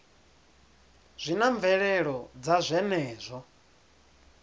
zwi na mvelelo dza zwenezwo